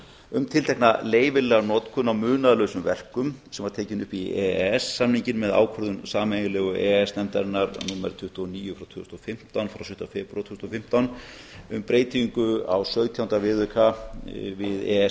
um tiltekna leyfilega notkun á munaðarlausum verkum sem var tekin upp í e e s samninginn með ákvörðun sameiginlegu e e s nefndarinnar númer tuttugu og níu tvö þúsund og fimmtán frá tuttugasta og fimmta febrúar tvö þúsund og fimmtán um breytingu á sautjánda viðauka við e e s